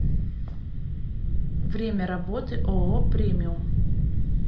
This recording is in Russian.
время работы ооо премиум